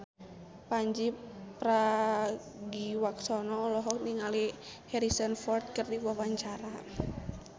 Pandji Pragiwaksono olohok ningali Harrison Ford keur diwawancara